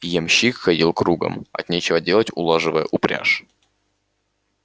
ямщик ходил кругом от нечего делать улаживая упряжь